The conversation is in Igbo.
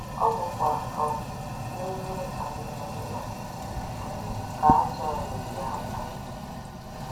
Ọ bụkwa um n’ime anemone a um ka azụ̀ a na - eyi àkwá ya.